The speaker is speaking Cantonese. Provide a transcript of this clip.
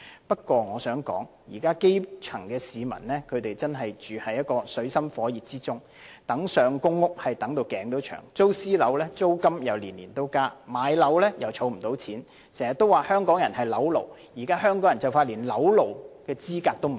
不過，我想指出，現時基層市民真是處於水深火熱之中，苦苦輪候入住公屋，租住私人樓宇又年年加租，想置業又儲不到錢，經常說香港人是"樓奴"，但現時香港人快連做"樓奴"的資格也沒有。